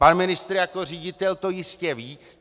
Pan ministr jako ředitel to jistě ví.